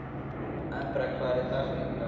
Embrek, hver er dagsetningin í dag?